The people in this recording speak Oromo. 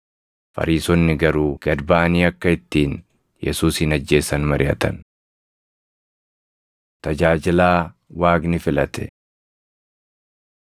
Fariisonni garuu gad baʼanii akka ittiin Yesuusin ajjeesan mariʼatan. Tajaajilaa Waaqni Filate